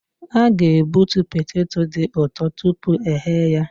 A ga-egbutu poteto dị ụtọ tupu eghe ya.